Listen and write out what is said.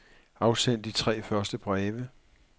Afsend de tre første breve.